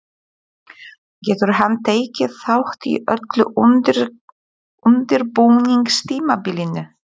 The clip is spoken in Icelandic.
Getur hann tekið þátt í öllu undirbúningstímabilinu?